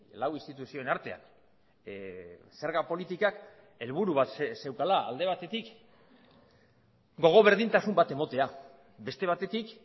lau instituzioen artean zerga politikak helburu bat zeukala alde batetik gogo berdintasun bat ematea beste batetik